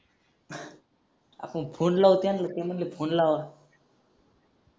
आपण फोन लावू त्यांना ते म्हटले फोन लावा